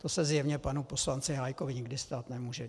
To se zjevně panu poslanci Hájkovi nikdy stát nemůže.